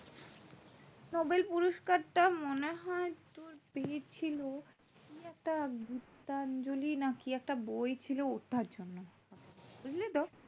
Nobel পুরস্কারটা মনে হয় তোর পেয়েছিলো কি একটা gitanjali না কি বই ছিল ওটার জন্য বুঝলি তো